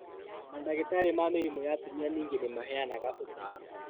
Mandagĩtarĩ ma mĩrimũ ya atumia ningĩ nĩmaheanaga ũtaaro